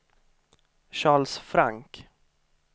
Charles Frank